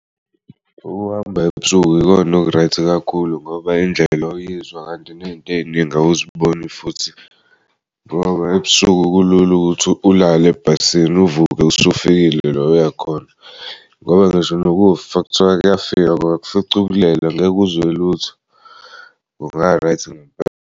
Ukuhamba ebusuku ikona oku-right kakhulu ngoba indlela uyizwa kanti nezinto ey'ningi awuziboni futhi ngoba ebusuku kulul'ukuthi ulale ebhasini uvuke usufikile la uyakhona ngoba ngisho nokufa kuthiwa kuyafika kungakufica ulele angeke uzwe lutho kunga-right ngempela.